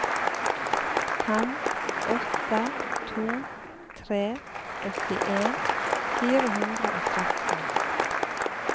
fem åtte to tre åttien fire hundre og tretten